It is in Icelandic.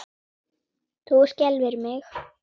Það skelfir mig.